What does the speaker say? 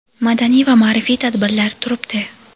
madaniy va maʼrifiy tadbirlar turibdi.